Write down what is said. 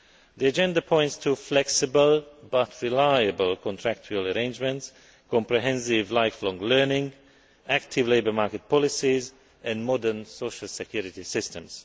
The agenda points to flexible, but reliable, contractual arrangements, comprehensive lifelong learning, active labour market policies, and modern social security systems.